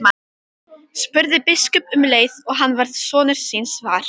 spurði biskup um leið og hann varð sonar síns var.